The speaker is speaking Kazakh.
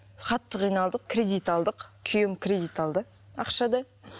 қатты киналдық кредит алдық күйеуім кредит алды ақшада